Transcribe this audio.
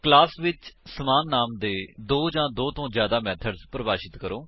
org method overloading ਕੀ ਹੈ160 class ਵਿੱਚ ਸਮਾਨ ਨਾਮ ਦੇ ਨਾਲ ਦੋ ਜਾਂ ਦੋ ਤੋ ਜਿਆਦਾ ਮੇਥਡਸ ਪਰਿਭਾਸ਼ਿਤ ਕਰੋ